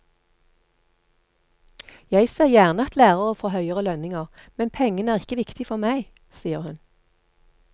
Jeg ser gjerne at lærere får høyere lønninger, men pengene er ikke viktig for meg, sier hun.